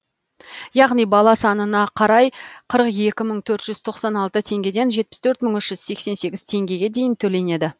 яғни бала санына қарай қырық екі мың төрт жүз тоқсан алты теңгеден жетпіс төрт мың үш жүз сексен сегіз теңгеге дейін төленеді